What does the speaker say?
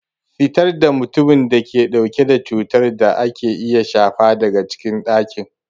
Fitar da mutumin da ke dauke da cutar da ake iya shafa daga cikin dakin!